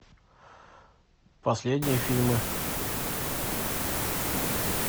последние фильмы